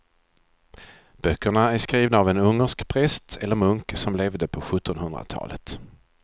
Böckerna är skrivna av en ungersk präst eller munk som levde på sjuttonhundratalet.